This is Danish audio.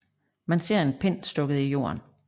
Man ser en pind stukket i jorden